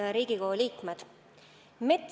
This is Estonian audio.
Head Riigikogu liikmed!